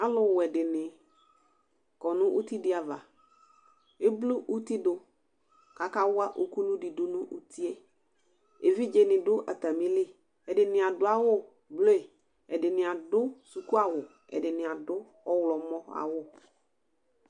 Alʋwɛ dini kɔ nʋ itidi ava kʋ eblu uti dʋ kʋ akawa ukulu dʋ utie evidze ni dʋ atamili ɛdini adʋ awʋble ɛdini adʋ sʋkʋawʋ ɛdini adʋ ɔwlɔmɔ awu